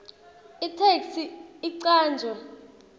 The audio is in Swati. itheksthi icanjwe